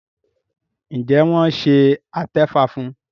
Njé wón ṣe atefa fún?